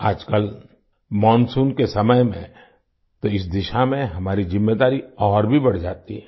आजकल मोनसून के समय में तो इस दिशा में हमारी ज़िम्मेदारी और भी बढ़ जाती है